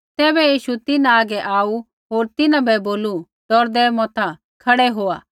तैबै यीशु तिन्हां हागै आऊ होर तिन्हां बै बोलू डौरदै मता खड़ै होआ